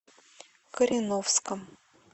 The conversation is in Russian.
кореновском